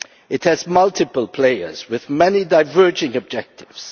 It has multiple players with many diverging objectives.